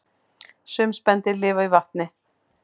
Sum spendýr lifa í vatni